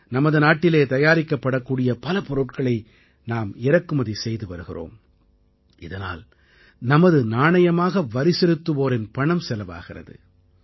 நமது நாட்டிலேயே தயாரிக்கப்படக்கூடிய பல பொருட்களை நாம் இறக்குமதி செய்து வருகிறோம் இதனால் நமது நாணயமாக வரிசெலுத்துவோரின் பணம் செலவாகிறது